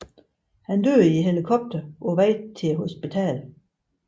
Han døde i helikopteren på vej til hospitalet